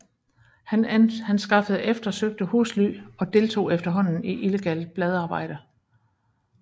Han skaffede eftersøgte husly og deltog efterhånden i illegalt bladarbejde